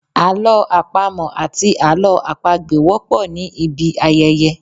Àlọ́ àpamọ̀ àti Àlọ́ àpagbè wọ́pọ̀ ní ibi ayẹyẹ.